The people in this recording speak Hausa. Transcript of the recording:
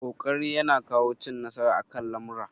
Ƙoƙari ya na kawo cin nasara akan lamura